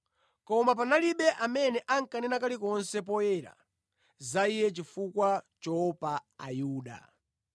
Koma panalibe amene ankanena kalikonse poyera za Iye chifukwa choopa Ayuda.